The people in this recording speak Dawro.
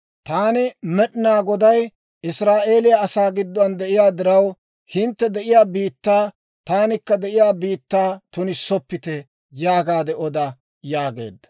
Taani, Med'inaa Goday, Israa'eeliyaa asaa gidduwaan de'iyaa diraw, hintte de'iyaa biittaa, taanikka de'iyaa biittaa tunissoppite› yaagaade oda» yaageedda.